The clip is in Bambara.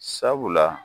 Sabula